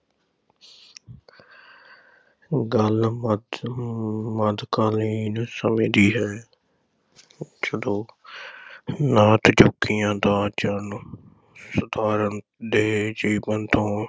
ਗੱਲ ਮੱਧ ਅਮ ਮੱਧਕਾਲੀਨ ਸਮੇਂ ਦੀ ਹੈ ਜਦੋਂ ਨਾਥ ਜੋਗੀਆਂ ਦਾ ਜਨ ਸਾਧਾਰਨ ਦੇ ਜੀਵਨ ’ਤੋਂ